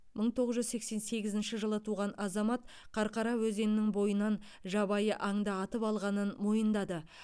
мың тоғыз жүз сексен сегізінші жылы туған азамат қарқара өзенінің бойынан жабайы аңды атып алғанын мойындады